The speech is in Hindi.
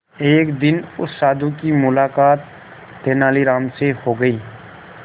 एक दिन उस साधु की मुलाकात तेनालीराम से हो गई